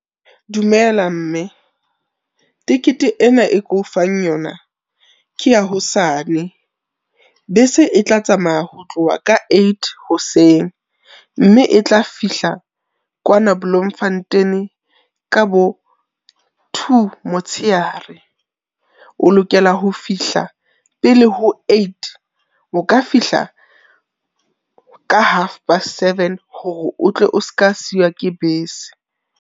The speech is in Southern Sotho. Dumela mme. Tekete ena e ke o fang yona ke ya hosane. Bese e tla tsamaya ho tloha ka eight hoseng mme e tla fihla kwana Bloemfontein ka bo two motshehare. O lokela ho fihla pele ho eight, o ka fihla ka half past seven hore o tle o ska siwa ke bese.